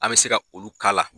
An bi se ka ulu k'a la.